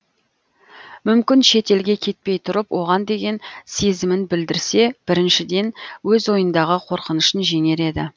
мүмкін шет елге кетпей тұрып оған деген сезімін білдірсе біріншіден өз ойындағы қорқынышын жеңер еді